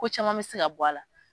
Ko caman bɛ se ka bɔ a la.